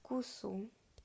кусу